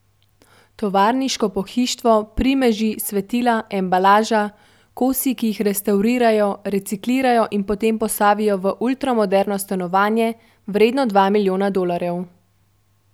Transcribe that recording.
Tovarniško pohištvo, primeži, svetila, embalaža, kosi, ki jih restavrirajo, reciklirajo in potem postavijo v ultramoderno stanovanje, vredno dva milijona dolarjev.